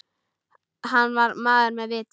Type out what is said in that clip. Hann var maður með viti.